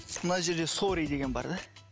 мына жерде сорри деген бар да